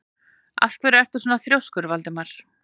Af hverju ertu svona þrjóskur, Valdimar?